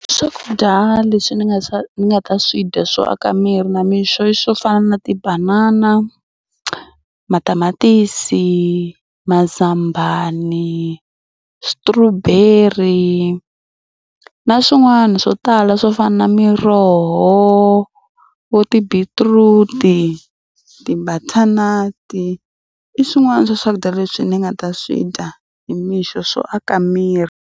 Swakudya leswi ni nga swa ni nga ta swi dya swo aka miri na mixo i swo fana na tibanana, matamatisi, mazambani, strawberry na swin'wana swo tala swo fana na miroho, vo tibeetroot, ti-butternut i swin'wana swa swakudya leswi ni nga ta swi dya hi mixo swo aka miri.